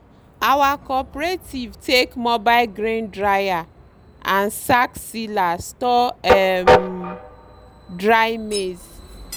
our cooperative take mobile grain dryer and sack sealer store um dry maize.